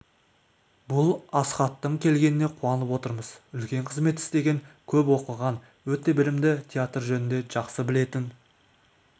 бұл асхаттың келгеніне қуанып отырмыз үлкен қызмет істеген көп оқыған өте білімді театр жөнінде жақсы білетін